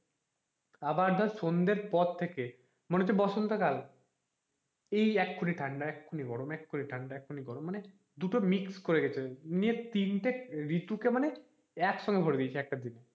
আবার ধর সন্ধের পর থেকে মনে হচ্ছে বসন্ত কাল এই এক্ষুনি ঠান্ডা এক্ষুনি গরম মানে দুটো mix করে গেছে ইয়ে মানে তিনটে ঋতু কে মানে একসঙ্গে ভরে দিয়েছে একটা দিন,